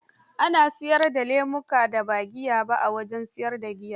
Ana siyar da lemukan da ba giya ba, a wajen siyar da giya.